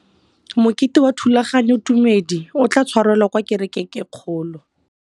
Mokete wa thulaganyôtumêdi o tla tshwarelwa kwa kerekeng e kgolo.